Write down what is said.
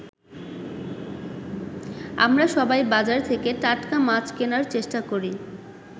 আমরা সবাই বাজার থেকে টাটকা মাছ কেনার চেষ্টা করি।